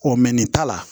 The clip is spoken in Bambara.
O mɛnni ta la